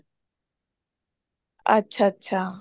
ਅੱਛਾ ਅੱਛਾ